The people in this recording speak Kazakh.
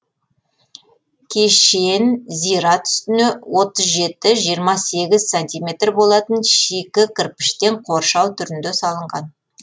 кешен зират үстіне отыз жеті жиырма сегііз сантиметр болатын шикі кірпіштен қоршау түрінде салынған